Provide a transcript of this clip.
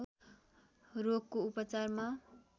रोगको उपचारमा